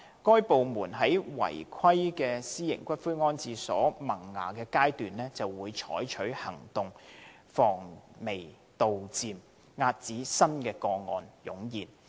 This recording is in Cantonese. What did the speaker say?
該等部門在違規私營骨灰安置所萌芽階段便採取行動，防微杜漸，遏止新個案湧現。